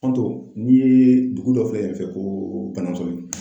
Fanto n'i ye dugu dɔ filɛ yen fɛ ko Banansoni.